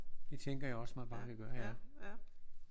Det tænker jeg også at man bare kan gøre ja